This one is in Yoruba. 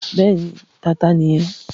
Bẹ́ẹ̀ni, Tata nìyí.